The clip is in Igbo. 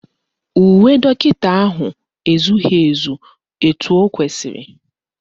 Uwe dọkịta ahụ ezughị ezu etu o kwesiri